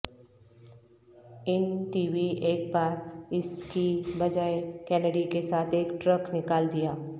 ان TV ایک بار اس کی بجائے کینڈی کے ساتھ ایک ٹرک نکال دیا